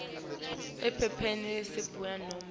ephepheni letishuyu nobe